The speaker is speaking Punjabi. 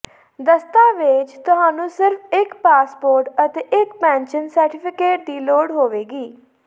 ਦਸਤਾਵੇਜ਼ ਤੁਹਾਨੂੰ ਸਿਰਫ ਇੱਕ ਪਾਸਪੋਰਟ ਅਤੇ ਇੱਕ ਪੈਨਸ਼ਨ ਸਰਟੀਫਿਕੇਟ ਦੀ ਲੋੜ ਹੋਵੇਗੀ